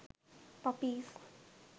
puppies